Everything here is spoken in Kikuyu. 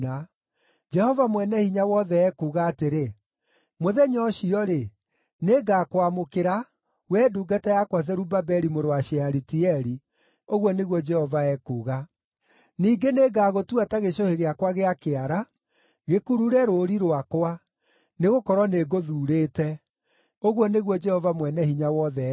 “Jehova Mwene-Hinya-Wothe ekuuga atĩrĩ, ‘Mũthenya ũcio-rĩ, nĩngakwamũkĩra, wee ndungata yakwa Zerubabeli mũrũ wa Shealitieli,’ ũguo nĩguo Jehova ekuuga. ‘Ningĩ nĩngagũtua ta gĩcũhĩ gĩakwa gĩa kĩara, gĩkurure rũũri rwakwa, nĩgũkorwo nĩngũthuurĩte,’ ũguo nĩguo Jehova Mwene-Hinya-Wothe ekuuga.”